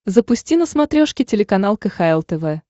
запусти на смотрешке телеканал кхл тв